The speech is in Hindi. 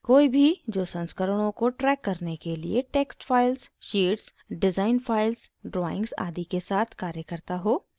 * कोई भी जो संस्करणों को track करने के लिए text files sheets design files drawings आदि के साथ कार्य करता हो